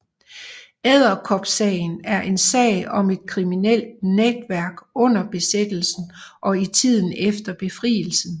Edderkopsagen er en sag om et kriminelt netværk under besættelsen og i tiden efter befrielsen